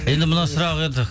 енді мына сұрақ енді